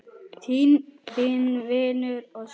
Þinn vinur og svili.